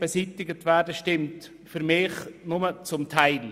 Beides stimmt für mich nur zum Teil.